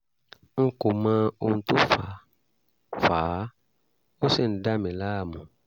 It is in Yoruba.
n kò mọ ohun tó fà fà á ó sì ń dà mí láàmú